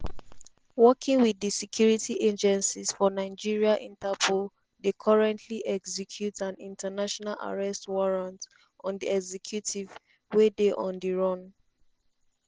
“working wit di security agencies for nigeria interpol dey currently execute an international arrest warrant on di executive wey dey on di run.”